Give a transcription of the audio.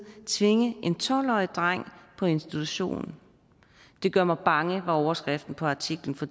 tvinge en tolv årig dreng på institution det gør mig bange var overskriften på artiklen fra